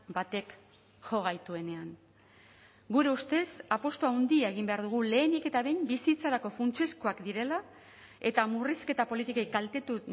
batek jo gaituenean gure ustez apustu handia egin behar dugu lehenik eta behin bizitzarako funtsezkoak direla eta murrizketa politikei kaltetu